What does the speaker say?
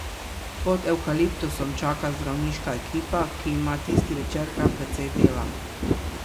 Pod evkaliptusom čaka zdravniška ekipa, ki ima tisti večer kar precej dela.